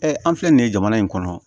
an filɛ nin ye jamana in kɔnɔ